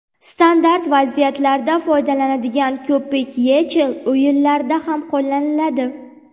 Standart vaziyatlarda foydalaniladigan ko‘pik YeChL o‘yinlarida ham qo‘llaniladi.